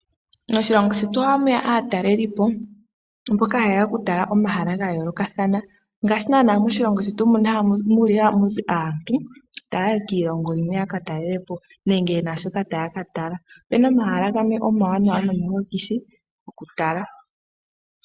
Moshilongo shetu ohamu ya aatalelipo mboka ha yeya oku tala omahala ga yoolokathana, ngaashi nanaa moshilongo shetu mu li hamuzi aantu ta ya yi kiilongo yimwe ya katalelepo nenge ye na shoka ta ya katala. Opena omahala gamwe omawanawa nomahokithi okutala.